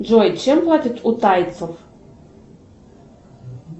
джой чем платят у тайцев